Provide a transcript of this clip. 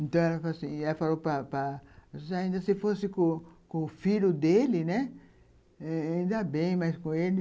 Então, ela falou assim, e ela falou, papai, ainda se fosse com o filho dele, né, ainda bem, mas com ele,